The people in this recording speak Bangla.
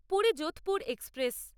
পুরী যোধপুর এক্সপ্রেস